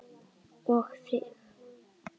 Og þig.